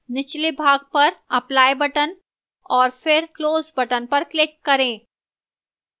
निचले भाग पर apply button और फिर close button पर click करें